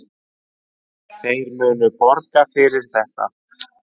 Þeir munu borga fyrir þetta.